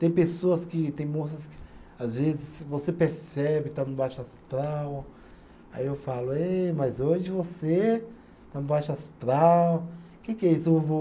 Tem pessoas que, tem moças que às vezes você percebe, está no baixo astral, aí eu falo, êh, mas hoje você está no baixo astral, o que que é isso?